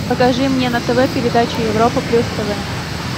покажи мне на тв передачу европа плюс тв